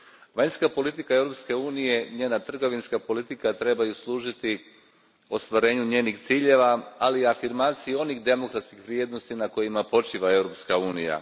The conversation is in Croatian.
Vanjska politika Europske unije i njena trgovinska politika trebaju služiti ostvarenju njezinih ciljeva, ali i afirmaciji onih demokratskih vrijednosti na kojima počiva Europska unija.